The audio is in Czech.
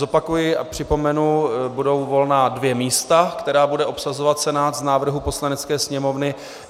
Zopakuji a připomenu - budou volná dvě místa, která bude obsazovat Senát z návrhů Poslanecké sněmovny.